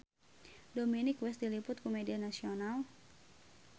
Dominic West diliput ku media nasional